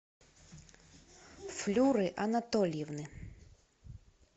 флюры анатольевны